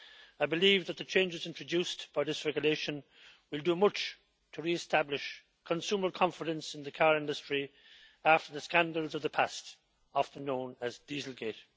I believe that the changes introduced in this regulation will do much to re establish consumer confidence in the car industry after the scandals of the past, often known as dieselgate'.